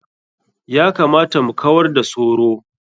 Ya kamata mu kawar da soro.